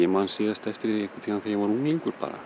man síðast eftir því þegar ég var unglingur bara